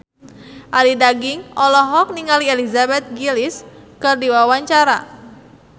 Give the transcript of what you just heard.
Arie Daginks olohok ningali Elizabeth Gillies keur diwawancara